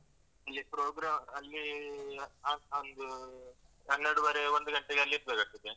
ಅಲ್ಲಿ program ಅಲ್ಲೀ ಆಹ್ ಆಹ್ ಒಂದು ಹನ್ನೆರಡೂವರೆ ಒಂದು ಗಂಟೆಗೆ ಅಲ್ಲಿ ಇರ್ಬೇಕಾಗ್ತದೆ.